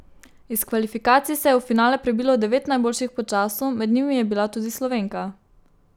Iz kvalifikacij se je v finale prebilo devet najboljših po času, med njimi je bila tudi Slovenka.